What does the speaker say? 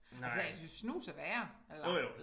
Altså jeg synes snus er værre eller